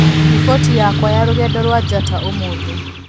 riboti yakwa ya rũgendo rwa njata ũmũthĩ